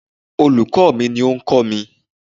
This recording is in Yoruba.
Olùkó ò mi ní o kọ́ mi